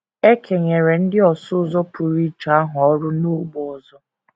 E kenyeziri ndị ọsụ ụzọ pụrụ iche ahụ ọrụ n’ógbè ọzọ.